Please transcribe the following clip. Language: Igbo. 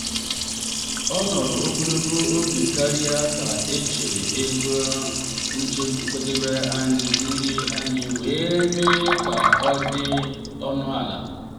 ọ nọrọ ogologo oge karịa ka e chere ego nkwadebe nri anyị wee mee ka ọ dị ọnụ ala.